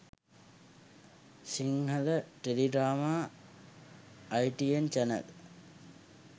sinhala teledrama itn channel